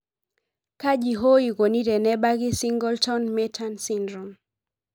kaji hoo ikoni tenebaki Singleton merten syndome?